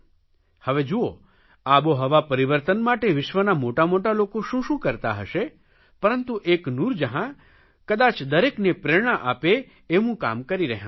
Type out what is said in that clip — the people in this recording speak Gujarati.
હવે જુઓ આબોહવા પરિવર્તન માટે વિશ્વના મોટામોટા લોકો શું શું કરતા હશે પરંતુ એક નૂરજહાં કદાય દરેકને પ્રેરણા આપે એવું કામ કરી રહ્યાં છે